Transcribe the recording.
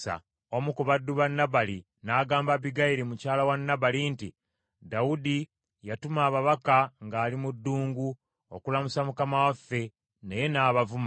Omu ku baddu ba Nabali n’agamba Abbigayiri mukyala wa Nabali nti, “Dawudi yatuma ababaka ng’ali mu ddungu okulamusa mukama waffe naye n’abavuma;